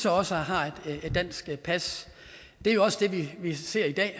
også har et dansk pas det er også det vi ser i dag